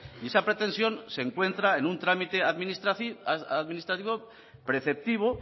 y esa pretensión se encuentra en un trámite administrativo preceptivo